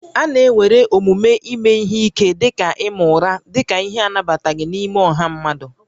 A na-ewere omume ime ihe ike dị ka ịma ụra dị ka ihe anabataghị n'ime ọha mmadụ